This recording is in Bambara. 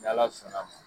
Ni ala sɔnna ma